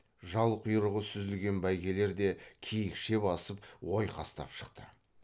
жал құйрығы сүзілген бәйгелер де киікше басып ойқастап шықты